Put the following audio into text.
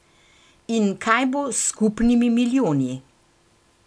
In kaj bo s skupnimi milijoni?